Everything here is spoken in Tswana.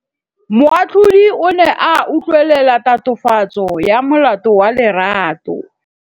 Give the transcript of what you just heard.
Moatlhodi o ne a utlwelela tatofatsô ya molato wa Lerato.